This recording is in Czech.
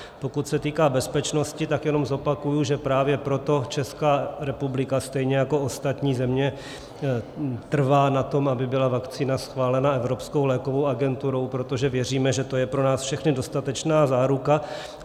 Pokud se týká bezpečnosti, tak jenom zopakuji, že právě proto Česká republika stejně jako ostatní země trvá na tom, aby byla vakcína schválena Evropskou lékovou agenturou, protože věříme, že to je pro nás všechny dostatečná záruka.